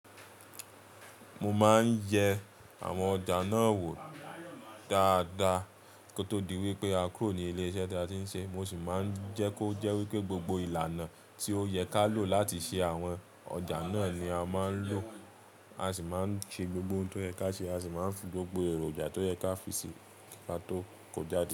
Mo máa ń yẹ àwọn ọjà náà wò dáadáa kó tó di wípé a kúrò ní ilé iṣẹ́ tí a ti ń ṣe. Mo sì máa ń jẹ́ kó jẹ́ wípé gbogbo ìlànà tí ó yẹ ká lò láti ṣe àwọn ọjà náà ni a máa ń lò, a sì máa ń ṣe gbogbo ohun tó yẹ ká ṣe, a sì máa ń fi gbogbo èròjà tó yẹ ká fi ṣe ka tó kò jáde.